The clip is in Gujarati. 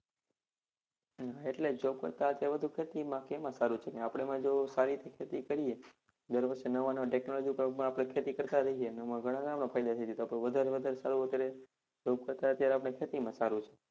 હા એટલે જ job કરતા ખેતી માં કે એમાં સારુ છે. આપણે એમાં જો સારી રીતે ખેતી કરીએ. દર વર્ષે નવા નવા technology પ્રમાણે આપણે ખેતી કરતા રહીએ એમા ઘણા બધા આપણે ફાયદા છે તો આપણે વધારે માં વધારે સારું કરીએ job કરતા અત્યારે આપણે ખેતીમાં સારુ છે.